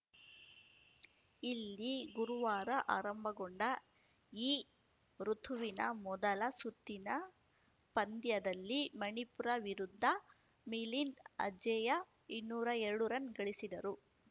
ಇಲ್ಲಿ ಗುರುವಾರ ಆರಂಭಗೊಂಡ ಈ ಋುತುವಿನ ಮೊದಲ ಸುತ್ತಿನ ಪಂದ್ಯದಲ್ಲಿ ಮಣಿಪುರ ವಿರುದ್ಧ ಮಿಲಿಂದ್‌ ಅಜೇಯ ಇನ್ನೂರ ಎರಡು ರನ್‌ ಗಳಿಸಿದರು